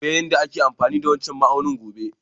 Zan koya yada ake amfani da wancan ma'aunin gobe.